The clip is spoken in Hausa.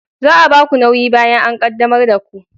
Za a ba ku nauyi bayan an qaddamar da ku